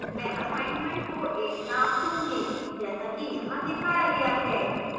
मैं assignment को एक name दूंगी जैसा कि यहाँ दिखाया गया है